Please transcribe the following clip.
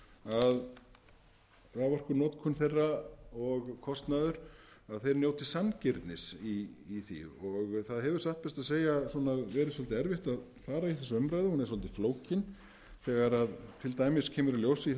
að raforkunotkun þeirra og kostnaður þeir njóti sanngirnis í því og það hefur satt best að segja verið svolítið erfitt að fara í þessa umræðu hún er svolítið flókin þegar til dæmis kemur í ljós í